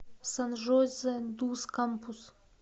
сан жозе дус кампус